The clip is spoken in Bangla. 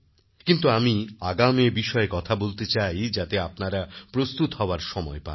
কিন্তু আমি আগাম এ বিষয়ে কথা বলতে চাই যাতে আপনারা প্রস্তুত হওয়ার সময় পান